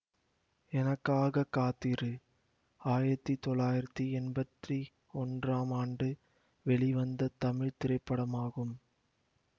எனக்காக காத்திரு ஆயிரத்தி தொள்ளாயிரத்தி எம்பத்தி ஒன்றாம் ஆண்டு வெளிவந்த தமிழ் திரைப்படமாகும்